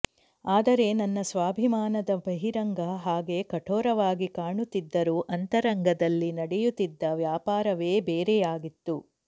ಆದರೆ ನನ್ನ ಸ್ವಾಭಿಮಾನದ ಬಹಿರಂಗ ಹಾಗೆ ಕಠೋರವಾಗಿ ಕಾಣುತ್ತಿದ್ದರೂ ಅಂತರಂಗದಲ್ಲಿ ನಡೆಯುತ್ತಿದ್ದ ವ್ಯಾಪಾರವೆ ಬೇರೆಯಾಗಿತ್ತು